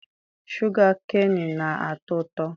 Shụga keenị na-atọ ụtọ.